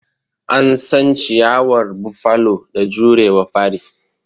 An san ciyawar Buffalo da jurewa fari.